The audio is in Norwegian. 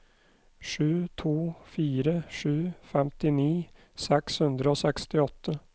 sju to fire sju femtini seks hundre og sekstiåtte